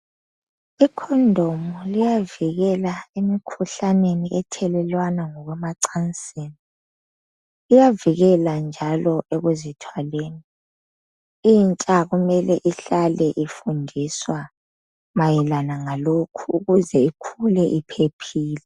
Icondom liyavikela emikhuhlaneni ethelelwana ngokwenacansini. Iyavikela njalo lekuzithwaleni. Intsha kumele ifundiswe ngalokhu, ukuze ikhule, iphephile.